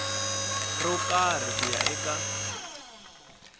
ro karhi ku ya eka